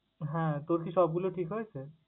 হ্যাঁ! তোর কি সবগুলো ঠিক হয়েছে?